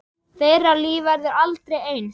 Þeirra líf verður aldrei eins.